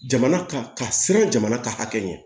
Jamana ka ka siran jamana ka hakɛ ɲɛ